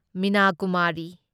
Meena Kumari